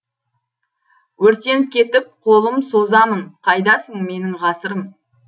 өртеніп кетіп қолым созамын қайдасың менің ғасырым